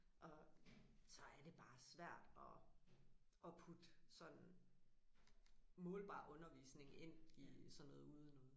Og så er det bare svært at at putte sådan målbar undervisning ind i sådan noget udenoget